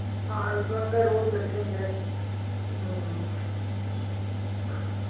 ਹਾਂ ਲੰਗਰ ਰੋਜ ਲੱਗੇ ਹੁੰਦੇ ਆ ਹਮ